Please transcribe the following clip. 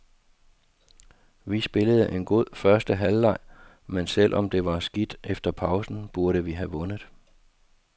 Vi spillede en god første halvleg, men selv om det var skidt efter pausen, burde vi ha vundet.